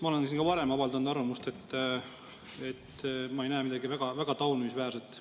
Ma olen ka varem avaldanud arvamust, et ma ei näe siin midagi väga taunimisväärset.